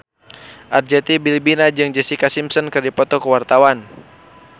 Arzetti Bilbina jeung Jessica Simpson keur dipoto ku wartawan